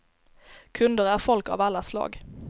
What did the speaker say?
Kunder är folk av alla slag.